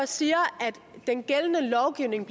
siger at den gældende lovgivning